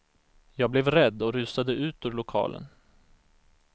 Jag blev rädd och rusade ut ur lokalen.